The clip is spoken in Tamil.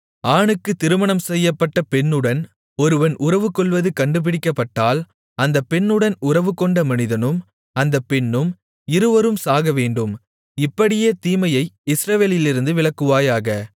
ஆணுக்கு திருமணம்செய்யப்பட்ட பெண்ணுடன் ஒருவன் உறவுகொள்வது கண்டுபிடிக்கப்பட்டால் அந்தப் பெண்ணுடன் உறவுகொண்ட மனிதனும் அந்த பெண்ணும் இருவரும் சாகவேண்டும் இப்படியே தீமையை இஸ்ரவேலிலிருந்து விலக்குவாயாக